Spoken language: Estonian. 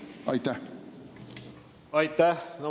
Aitäh!